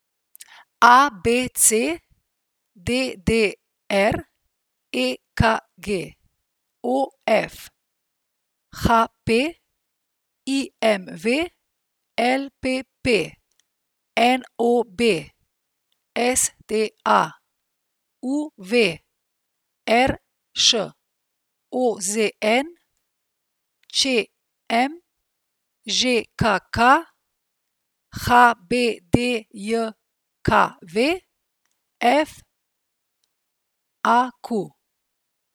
A B C; D D R; E K G; O F; H P; I M V; L P P; N O B; S T A; U V; R Š; O Z N; Č M; Ž K K; H B D J K V; F A Q.